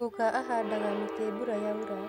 Guka ahandaga mĩti mbura yaura